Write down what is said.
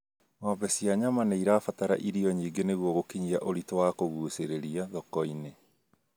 Ng'ombe cia nyama nĩirabatara irio nyingĩ nĩguo gũkinyia ũritũ wa kũgucĩrĩria thoko-inĩ